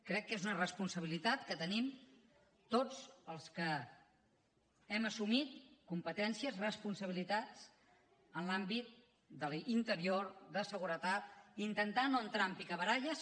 crec que és una responsabilitat que tenim tots els que hem assumit competències responsabilitats en l’àmbit d’interior de seguretat intentar no entrar en picabaralles